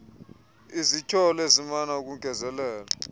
izityholo ezimana ukongezelelwa